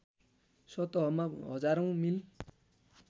सतहमा हजारौँ मिल